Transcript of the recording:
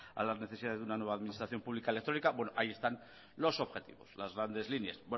a las necesidades de una nueva administración pública electrónica bueno ahí están los objetivos las grandes líneas